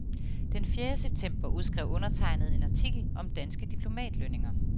Den fjerde september skrev undertegnede en artikel om danske diplomatlønninger.